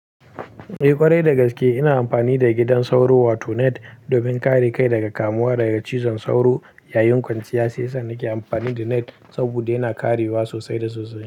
Eh ƙwarai dagaske ina amfani da gidan sauro wato net domin kare kai daga kamuwa daga cizon sauro. Yayin kwanciya shiyasa nake amfani da net saboda yana karewa sosai da sosai.